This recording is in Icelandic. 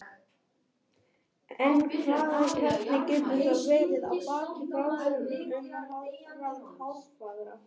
Hér að neðan má sjá úrslit gærkvöldsins.